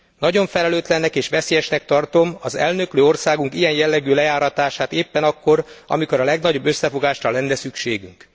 Nagyon felelőtlennek és veszélyesnek tartom az elnöklő országunk ilyen jellegű lejáratását éppen akkor, amikor a legnagyobb összefogásra lenne szükségünk.